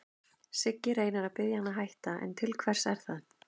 Siggi reynir að biðja hann að hætta, en til hvers er það?